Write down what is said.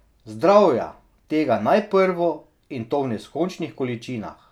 Zdravja, tega najprvo, in to v neskončnih količinah.